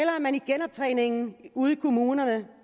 man i genoptræningen ude i kommunerne